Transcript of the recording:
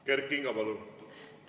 Kert Kingo, palun!